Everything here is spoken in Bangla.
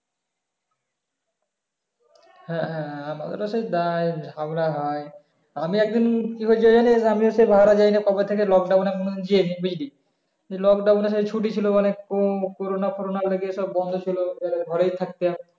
হ্যাঁ হ্যাঁ ওটা তো দায় ঝগড়া হয় আমি একদিন কি হয়েছে জানিস আমি হচ্ছে বাহারাজাইনে কবে থেকে lockdown এ কোন দিন যাই নি বুঝলি লোকডাওনে ছুটি ছিলও মানে কো করনা ফরনার আগে বন্ধ ছিলও ঘরেই থাকতে হয়